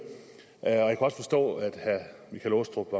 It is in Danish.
jeg kan også forstå at herre michael aastrup